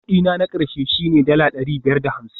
Kudi na na ƙarshe shine dala ɗari biyar da hamsin